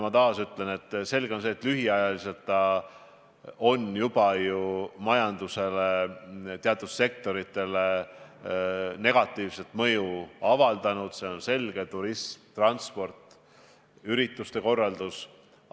Ma taas ütlen, et lühikese ajaga on olukord juba majanduse teatud sektoritele negatiivset mõju avaldanud, see on selge: turism, transport, ürituste korraldus.